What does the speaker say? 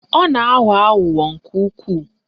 Ọ na-aghọ aghụghọ nke ukwuu